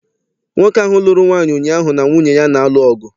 Nwoke ahụ lụrụ nwaanyị ụnyaahụ na nwunye ya na-alụ ọgụ.